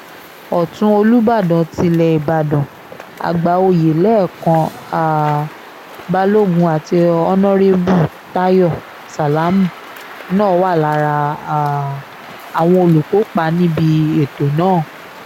ọ̀tún olùbàdàn tilé ìbàdàn àgbà-òye lẹ́kan um balógun àti ọ̀nàrẹ́bù táyọ sálámù náà wà lára um àwọn olùkópa níbi ètò náà